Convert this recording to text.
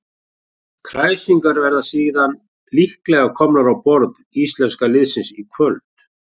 Kræsingarnar verða síðan líklega komnar á borð íslenska liðsins í kvöld.